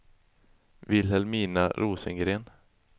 Vilhelmina Rosengren